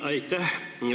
Aitäh!